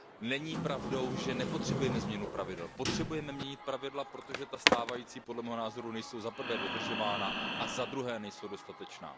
Není pravdou, že nepotřebujeme změnu pravidel. Potřebujeme měnit pravidla, protože ta stávající, podle mého názoru, nejsou za prvé dodržována a za druhé nejsou dostatečná.